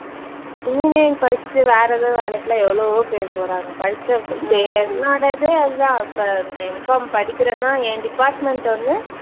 engineering படிச்சுட்டு வேற ஏதாவது வேலைக்கெல்லாம் எவ்வளவோ பேரு போறாங்க. படிச்ச இப்ப என்னோட இதே அதுதான் இப்ப நான் MPharm படிக்கிறேன்னா என் department வந்து